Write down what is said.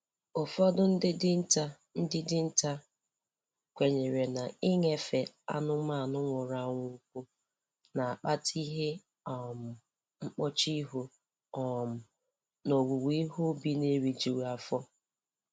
Ụfọdụ ndị dinta ndị dinta kwenyere na-iṅefe anụmanụ nwụrụ anwụ ụkwụ na-akpata ihe um mkpọchu ihu um na owuwe ihe ubi na-erijughị afọ